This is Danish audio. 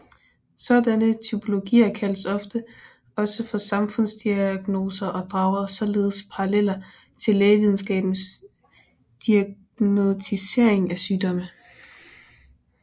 Sådanne typologier kaldes ofte også for samfundsdiagnoser og drager således paralleler til lægevidenskabens diagnosticering af sygdomme